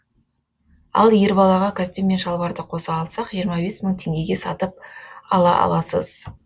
ал ер балаға костюм мен шалбарды қоса алсақ жиырма бес мың теңгеге сатып ала аласыз